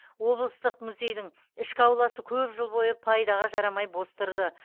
облыстық музейдің ішкі ауласы көп жыл бойы пайдаға жарамай бос тұрды